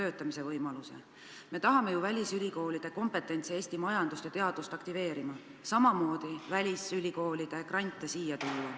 Aga me tahame ju välisülikoolide kompetentsi abil Eesti majandust ja teadust aktiveerida, samamoodi välisülikoolide grante siia tuua.